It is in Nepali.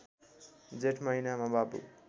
जेठ महिनामा बाबु